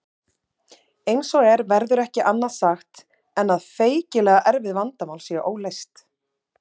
Eins og er verður ekki annað sagt en að feikilega erfið vandamál séu óleyst.